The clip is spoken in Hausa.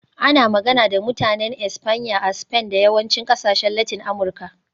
Ana magana da Mutanen Espanya a Spain da yawancin ƙasashen Latin Amurka.